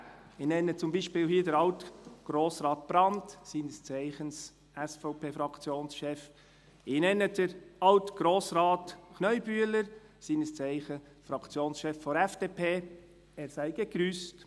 Ich nenne hier zum Beispiel Alt-Grossrat Brand, seines Zeichens SVP-Fraktionschef, ich nenne Alt-Grossrat Kneubühler, seines Zeichens Fraktionschef der FDP, er sei gegrüsst.